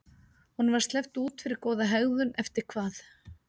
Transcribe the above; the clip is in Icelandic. Honum var sleppt út fyrir góða hegðun eftir hvað?